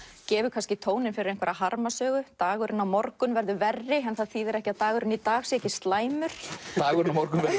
gefur tóninn fyrir dagurinn á morgun verður verri en það þýðir ekki að dagurinn í dag sé ekki slæmur dagurinn á morgun verður